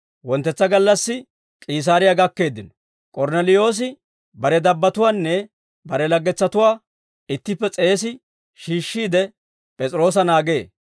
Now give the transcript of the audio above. Wonttetsa gallassi, K'iisaariyaa gakkeeddino; K'ornneliyoosi bare dabbatuwaanne bare laggetsatuwaa ittippe s'eesi shiishshiide, P'es'iroosa naagee.